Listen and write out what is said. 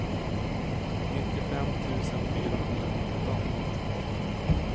nittiofem tusen fyrahundranitton